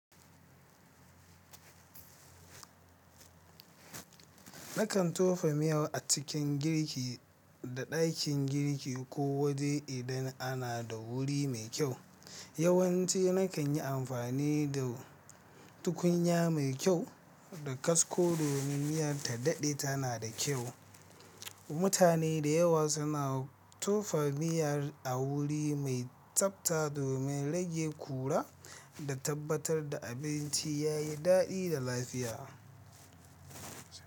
Nakan tofa miya a cikin girki da dakin girki ko waje idan ana da wuri mai kyau. Yawanci nakan yi amfani da tukunya mai kyau da kasko domin miya ta daɗe tana da kyau. Mutane da yawa suna tofa miya a wuri mai tsafta domin rage ƙura da tabbatar da abinci yayi daɗi da lafiya.